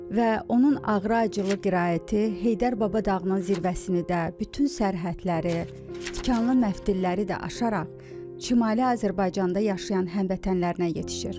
Və onun ağrı-acılı qiraəti Heydər Baba dağının zirvəsini də, bütün sərhədləri, tikanlı məftilləri də aşaraq Şimali Azərbaycanda yaşayan həmvətənlərinə yetişir.